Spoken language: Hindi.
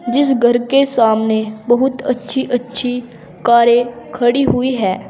जिस घर के सामने बहुत अच्छी अच्छी कारें खड़ी हुई है।